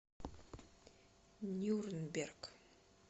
нюрнберг